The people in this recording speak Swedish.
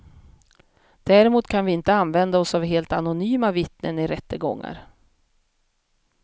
Däremot kan vi inte använda oss av helt anonyma vittnen i rättegångar.